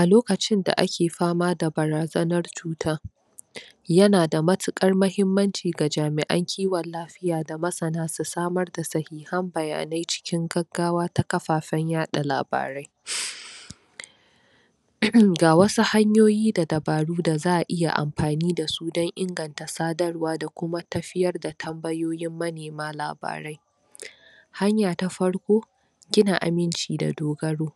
a lokacin da ake fama da barazanan cuta yana da matukar mahimmanci ga jamian kiwon lafiya da masana su samar da sahihan bayanan cikin gaggawa ta kafafan yada labarai ga wasu hanyoyi da dabaru da zaa iya anfani da su dan inganta sadarwa da kuma tafiyar da tambayoyin manema ladarai hanya ta farko gina aminci da dogaro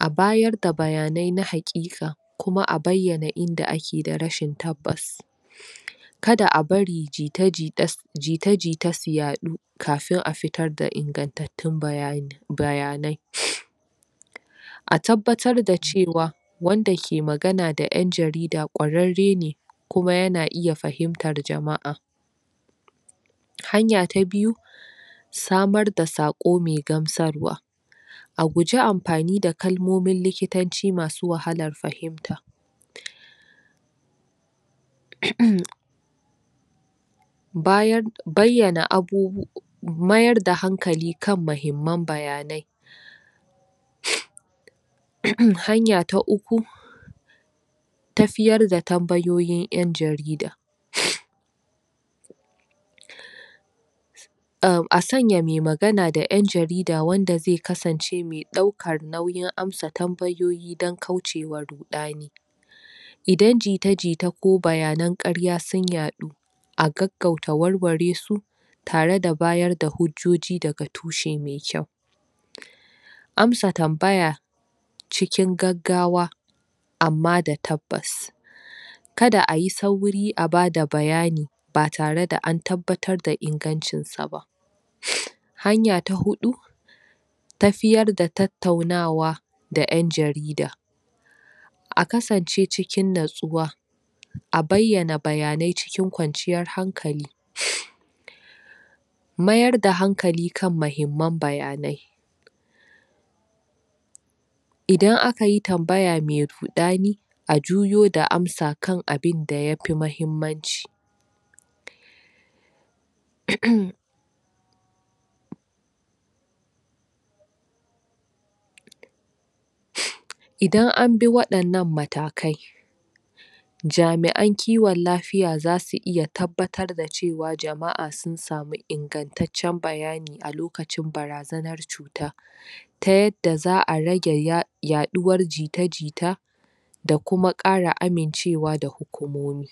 a bayar da bayanan na hakika kuma a baiyana inda ake da rashin tabbas kada a bari jita- jita su yadu kafin a fitar da inganceccen bayani bayanan a tabbatar da cewa wanda ke magana da yan jarida kwararrene kuma yana iya fahimtar jamaa hanya ta biyu samar da sako mai gamsarwa a guji anfani da karmomin likitanci masu wahalan fahinta bayan baiyana abubuwa mayar da hankali kan mahimman bayanai hanya ta uku tafiyar da hanyoyin yan jarida a sanya mai magana da yan jarida wanda zai kasance mai daukan daukan nauyin amsa tambayoyi dan kaucewa rudani idan jita-jita ko bayanan karya sun yadu a gaggauta warwaresu tare da bada hujjoji daga tushe mai kyau amsa tabaya cikin gaggawa amma da tabbas kada ayi sauri a dbada bayani ba tare da an tabbatar da ingancin saba hanya ta hudu tafiyar da tautaunawa da yan jarida a kasance cikin nutsuwa a baiyana bayanai cikin kwanciyan hankali mayar da hankali kan mahimman bayanai idan akayi tabmaya mai rudani a juyo da amsa kan abin da yafi mahimmanci idan an bi wayan nan matakai jamian kiwon lafiya zasu iya tabbatar da cewa jamaa sun samu inganceccen bayani a lokacin barazanan tsuta ta yadda zaa rage yaduwar jita-jita da kuma kara amincewa da hukumomi